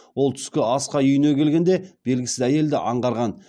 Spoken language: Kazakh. ол түскі асқа үйіне келгенде белгісіз әйелді аңғарған